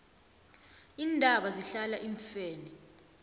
iintaba zihlala iimfene